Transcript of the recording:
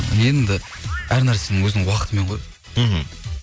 енді әр нәрсенің өзінің уақытымен ғой мхм